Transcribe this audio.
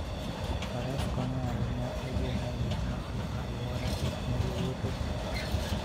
Faras konyo ahinya e geng'o gik maketho alwora e kinde wuoth e thim.